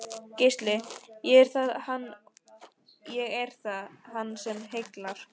Gísli: Já, er það hann sem heillar?